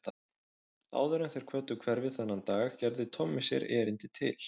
Áður en þeir kvöddu hverfið þennan dag gerði Tommi sér erindi til